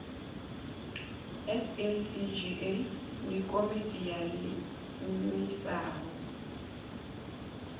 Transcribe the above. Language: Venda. sacga ndi komiti yo iimisaho